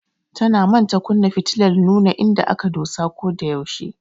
Tana manta kunna fitilar nuna inda aka dosa ko da yaushe.